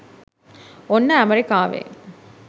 ඔන්න ඇමරිකාවේ